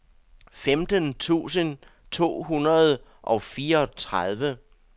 femten tusind to hundrede og fireogtredive